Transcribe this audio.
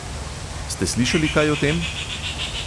Ste slišali kaj o tem?